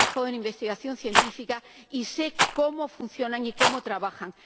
Yo he trabajado en investigación científica y sé cómo funcionan y cómo trabajan.